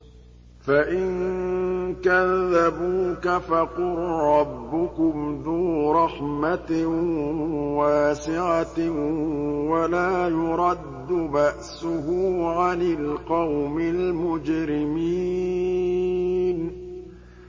فَإِن كَذَّبُوكَ فَقُل رَّبُّكُمْ ذُو رَحْمَةٍ وَاسِعَةٍ وَلَا يُرَدُّ بَأْسُهُ عَنِ الْقَوْمِ الْمُجْرِمِينَ